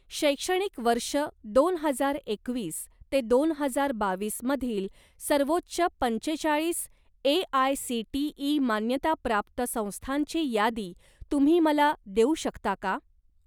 शैक्षणिक वर्ष दोन हजार एकवीस ते दोन हजार बावीस मधील सर्वोच्च पंचेचाळीस ए.आय.सी.टी.ई. मान्यताप्राप्त संस्थांची यादी तुम्ही मला देऊ शकता का?